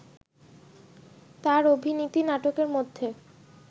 তার অভিনীত নাটকের মধ্যে